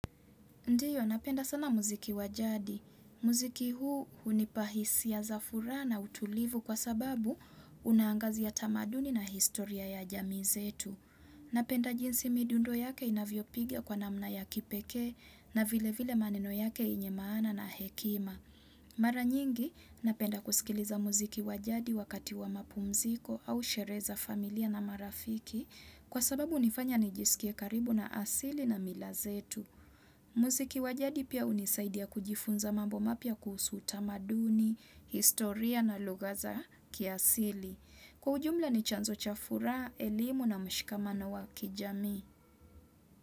Ndiyo, napenda sana muziki wajadi. Muziki huu hunipa hisia za furaha na utulivu kwa sababu unaangazi tamaduni na historia ya jamii zetu. Napenda jinsi midundo yake inavyopiga kwa namna ya kipekee na vilevile maneno yake yenye maana na hekima. Mara nyingi, napenda kusikiliza muziki wa jadi wakati wa mapumziko au sherehe za familia na marafiki kwa sababu hunifanya nijisikie karibu na asili na mila zetu. Muziki wa jadi pia hunisaidia kujifunza mambo mapya kuhusu utamaduni, historia na lugha za kiasili. Kwa ujumla ni chanzo cha furaha, elimu na mshikamano wa kijamii.